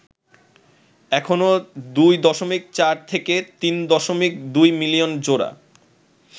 এখনও ২.৪-৩.২ মিলিয়ন জোড়া